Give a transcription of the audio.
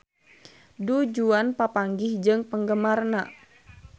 Du Juan papanggih jeung penggemarna